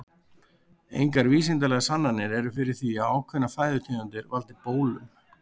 Engar vísindalegar sannanir eru fyrir því að ákveðnar fæðutegundir valdi bólum.